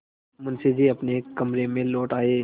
मुंशी जी अपने कमरे में लौट आये